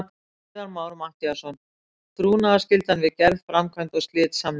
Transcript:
Viðar Már Matthíasson: Trúnaðarskyldan við gerð, framkvæmd og slit samninga.